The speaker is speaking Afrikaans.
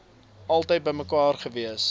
altyd bymekaar gewees